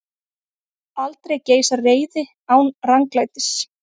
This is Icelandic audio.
Aldrei geisar reiði án ranglætis.